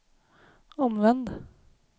omvänd